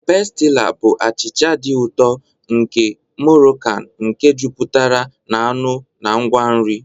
Pestila bụ achịcha dị ụtọ nke Morokan nke jupụtara na anụ na ngwa nri.